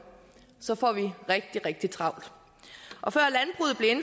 så får vi rigtig rigtig travlt